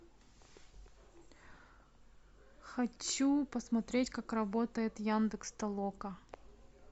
хочу посмотреть как работает яндекс толока